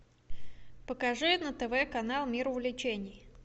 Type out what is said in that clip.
покажи на тв канал мир увлечений